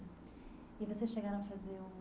E vocês chegaram a fazer o...